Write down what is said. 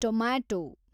tomato